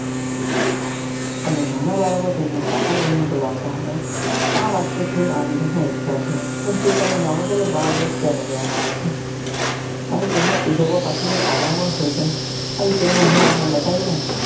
અને નાના બાળકો તેમને ચાચા કહી ને બોલવતા હતા આ વાત તો થઇ આ દિવસ ના ઈતિહાસ ની કે દોસ્તો તમે જાણો છો કે બાળ દિવસ કેમ ઉજવવા માં આવે છે અને તેને ઉજવવા પાછળ કારણ પણ હોય છે આ વિષય માં હું તમને બતાવી દઉં.